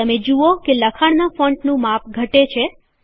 તમે જુઓ કે લખાણનાં ફૉન્ટનું માપ ઘટે છે